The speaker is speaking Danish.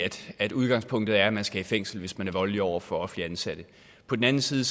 at udgangspunktet er at man skal i fængsel hvis man er voldelig over for offentligt ansatte på den anden side